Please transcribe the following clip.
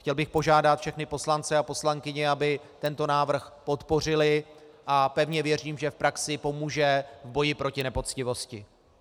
Chtěl bych požádat všechny poslance a poslankyně, aby tento návrh podpořili, a pevně věřím, že v praxi pomůže v boji proti nepoctivosti.